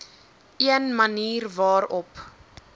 een manier waarop